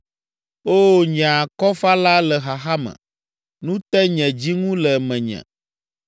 Oo, nye Akɔfala le xaxa me. Nu te nye dzi ŋu le menye.